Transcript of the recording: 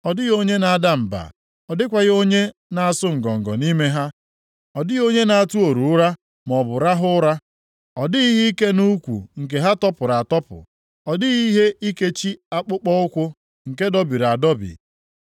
Ọ dịghị onye na-ada mba, ọ dịkwaghị onye nʼasụ ngọngọ nʼime ha, ọ dịghị onye nʼatụ oru ụra maọbụ rahụ ụra, ọ dịghị ihe ike nʼukwu ha nke tọpụrụ atọpụ ọ dịghị ihe ikechi akpụkpọụkwụ nke dọbiri adọbi. + 5:27 \+xt Jul 2:8\+xt*